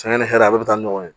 ni hɛrɛ a bɛɛ bɛ taa ɲɔgɔn ye